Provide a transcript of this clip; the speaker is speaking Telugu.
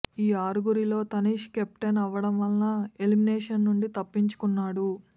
ఈ ఆరుగురిలో తనీష్ కెప్టెన్ అవ్వడం వల్ల ఎలిమినేషన్ నుండి తప్పించుకున్నాడు